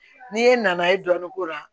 N'i ye nanaye dɔɔnin k'o la